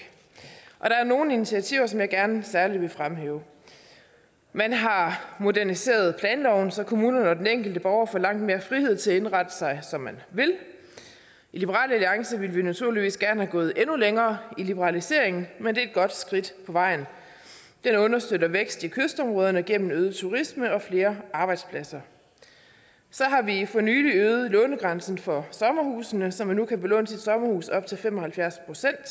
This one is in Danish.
og der er nogle initiativer som jeg gerne særlig vil fremhæve man har moderniseret planloven så kommunerne og den enkelte borger får langt mere frihed til at indrette sig som man vil i liberal alliance ville vi naturligvis gerne være gået endnu længere i liberaliseringen men det er et godt skridt på vejen den understøtter vækst i kystområderne gennem øget turisme og flere arbejdspladser så har vi for nylig øget lånegrænsen for sommerhusene så man nu kan belåne sit sommerhus op til fem og halvfjerds